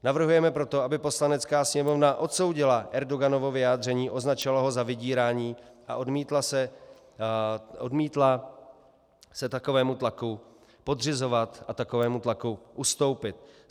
Navrhujeme proto, aby Poslanecká sněmovna odsoudila Erdoganovo vyjádření, označila ho za vydírání a odmítla se takovému tlaku podřizovat a takovému tlaku ustoupit.